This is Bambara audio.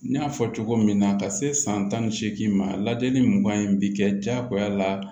N y'a fɔ cogo min na ka se san tan ni seegin ma lajɛli mugan in bi kɛ jagoya la